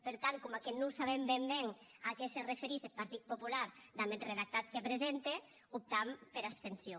per tant coma non sabem ben ben a qué se referís eth partit popular damb eth redactat que presente optam pera abstencion